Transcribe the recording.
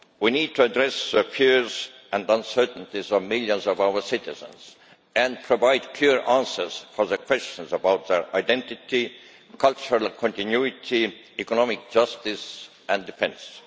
We need to address the fears and uncertainties of millions of our citizens and provide clear answers to questions about their identity, cultural continuity, economic justice and defence.